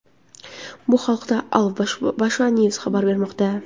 Bu haqda Al-Bawaba News xabar bermoqda .